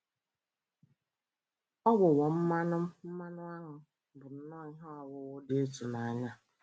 Ụgbụgbọ mmanụ mmanụ áṅụ bụ nnọ ihe ọwụwụ dị ịtụnanya.